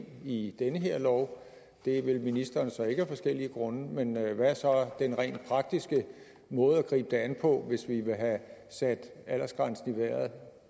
i den her lov det vil ministeren så ikke af forskellige grunde men hvad er så den rent praktiske måde at gribe det an på hvis vi vil have sat aldersgrænsen i vejret